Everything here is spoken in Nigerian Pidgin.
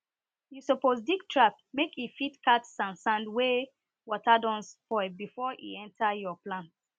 you suppose dig trap mske e fit catch sand sand wey water don spoil before e enter your plsnt